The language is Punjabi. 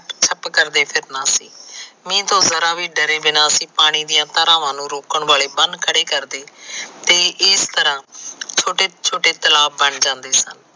ਛੱਪ ਕਰਦੇ ਫਿਰਨਾ ਸੀ। ਮੀਹ ਤੋ ਜਰਾ ਵੀ ਡਰੇ ਬਿਨਾ ਅਸੀ ਪਾਣੀ ਦੀਆਂ ਧਾਰਾਵਾਂ ਨੂੰ ਰੋਕਣ ਵਾਲੇ ਬੰਨ ਖੜੇ ਕਰਦੇ ਤੇ ਇਸ ਤਰਾ ਛੋਟੇ ਛੋਟੇ ਤਲਾਬ ਬਣ ਜਾਂਦੇ ਸਨ।